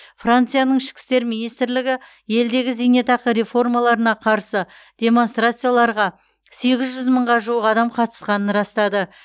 францияның ішкі істер министрлігі елдегі зейнетақы реформаларына қарсы демонстрацияларға сегіз жүз мыңға жуық адам қатысқанын растады